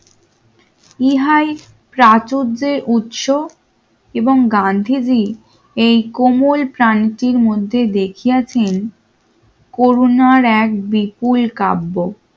ইহাই প্রাচুরদের উৎস এবং গান্ধীজি এই কোমল প্রাণীর মধ্যে দেখিয়াছেন করুণার এক বিপুল কাব্য